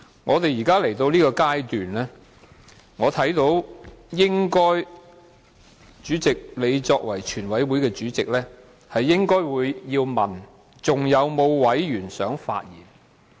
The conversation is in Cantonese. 會議來到現在這階段，主席你作為全體委員會主席，應該問"是否有其他委員想發言？